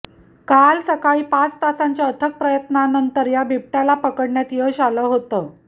काल सकाळी पाच तासांच्या अथक प्रयत्नानंतर या बिबट्याला पकडण्यात यश आलं होतं